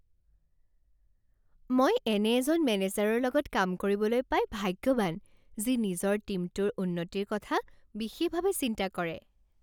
মই এনে এজন মেনেজাৰৰ লগত কাম কৰিবলৈ পাই ভাগ্যৱান যি নিজৰ টীমটোৰ উন্নতিৰ কথা বিশেষভাৱে চিন্তা কৰে।